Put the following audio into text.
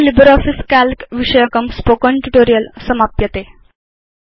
अत्र LibreOffice Calc विषयकं spoken tutorial समाप्यते